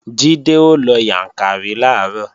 Jídé ó lọ Yàǹkàrí làárọ̀